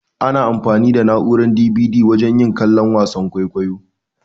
Ana anfani da na'urar "DVD" wajen yin kallon wasan kwaikwayo.